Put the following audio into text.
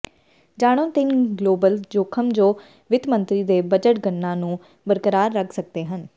ਜਾਣੋਂ ਤਿੰਨ ਗਲੋਬਲ ਜੋਖਮ ਜੋ ਵਿੱਤ ਮੰਤਰੀ ਦੇ ਬਜਟ ਗਣਨਾ ਨੂੰ ਬਰਕਰਾਰ ਰੱਖ ਸਕਦੇ ਹਨ